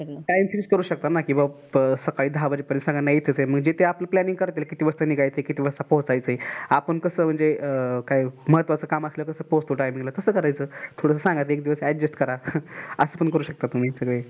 time fix करू शकता ना कि बाबा सकाळी दहा वाजता सांगा मी इथेच आहे म्हणजे आपल्यला planning करता येईल किती वाजता निघायचं आहे, किती वाजता पोहचायचं आहेआपण कस म्हणजे काही म्म्हात्वाच काम असाल कि कस पोहचतो timing तास करायचं. थोड सांगायचं एक दिवस adjust करा. अस पण करू शकता तुम्ही सगळे.